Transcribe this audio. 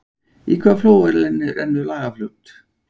Í hvaða flóa rennur Lagarfljót?